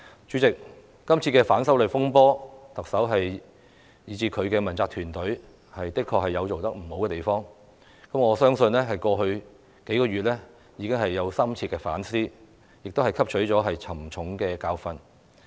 主席，在今次的反修例風波之中，特首及其問責團隊的確有做得不妥善之處，我相信她在過去數月已有深切反思，並已汲取沉重的教訓。